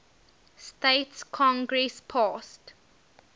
states congress passed